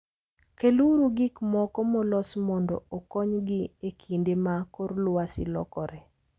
Keluru gik moko molos mondo okonygi e kinde ma kor lwasi lokore.